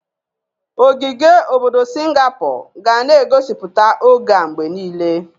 Ogige obodo Singapor ga na egosipụta oge a mgbe niile.